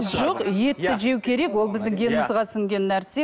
жоқ етті жеу керек ол біздің генімізге сіңген нәрсе